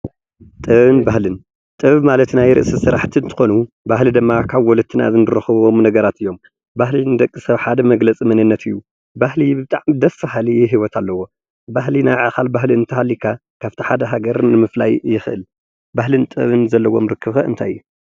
ጥበብን ባህልን፦ ጥበብ ማለት ናይ ርእሲ ስራሕቲ እንትኮኑ ባህሊ ድማ ካብ ወለድና እንረኽቦም ነገራት እዮም። ባህሊ ንደቂ-ሰብ ሓደ መግለፂ መንነት እዩ፣ ባህሊ ብጣዕሚ ደስ በሃሊ ሂወት ኣለዎ፣ ባህሊ ናይ ባዕልኻ ባህሊ እንተሃሊካ ካብእቲ ሓደ ሃገር ምፍላይ ይክእል። ባህልን ጥበብን ዘለዎም ርክብ ከ እንታይ እዩ?